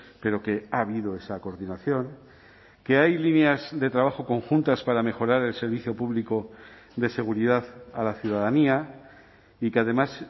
pero que ha habido esa coordinación que hay líneas de trabajo conjuntas para mejorar el servicio público de seguridad a la ciudadanía y que además